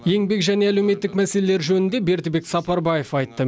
еңбек және әлеуметтік мәселелер жөнінде бердібек сапарбаев айтты